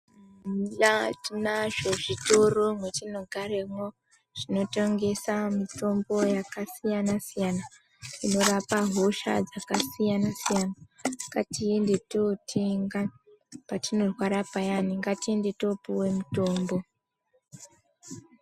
Eya tinazvo nazvo zvitoro mwatinogaramwo zvinotengesa mitombo yakasiyana-siyana inorapa hosha dzakasiyana siyana, ngatiende totenga parinorwara paya ngatiende tinopuwa mitombo.